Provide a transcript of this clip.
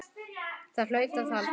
Það hlaut að halda.